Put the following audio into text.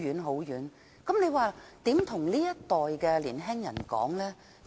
那我們又怎樣向這一代的年青人說呢？